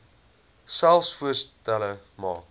selfs voorstelle maak